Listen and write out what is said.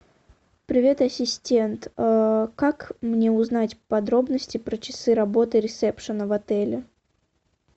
привет ассистент как мне узнать подробности про часы работы ресепшена в отеле